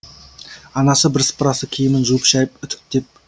анасы бірсыпырасы киімін жуып шайып үтіктеп